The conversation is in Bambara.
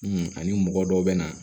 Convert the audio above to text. ani mɔgɔ dɔw bɛ na